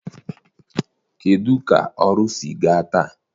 Kedụ ka ọrụ sịrị gaa taa?